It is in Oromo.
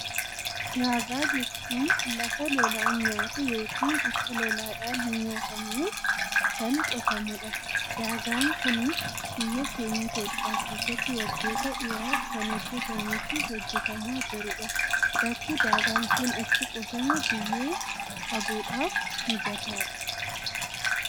Daagaa jechuun lafa lolaan nyaatte ykn akka lolaadhaan hin nyaatamneef kan qotamudha. Daagaan kunis biyya keenya Itoophiyaa keessatti waggoota dheeraf kan hijjetamee fi hojjetamaa jirudha. Bakki daagaan kun itti qotame biyyee qabuudhaf mijataadha.